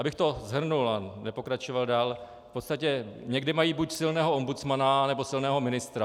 Abych to shrnul a nepokračoval dál - v podstatě někde mají buď silného ombudsmana nebo silného ministra.